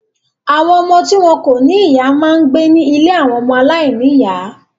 Àwọn ọmọ tí wọn kò ní ìyá máa ń gbé ní ilé àwọn ọmọ aláìníìyá.